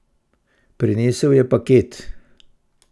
Prinesel je paket.